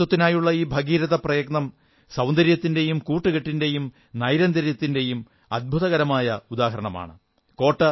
ശുചിത്വത്തിനായുള്ള ഈ ഭഗീരഥ പ്രയത്നം സൌന്ദര്യത്തിന്റെയും കൂട്ടുകെട്ടിന്റെയും നൈരന്തര്യത്തിന്റെയും അത്ഭുതകരമായ ഉദാഹരണമാണ്